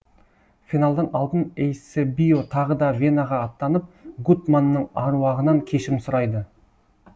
финалдан алдын эйсебио тағы да венаға аттанып гуттманның аруағынан кешірім сұрайды